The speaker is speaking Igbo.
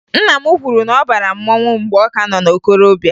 Nna m kwuru na ọ bara mmanwụ mgbe ọ ka nọ na okorobịa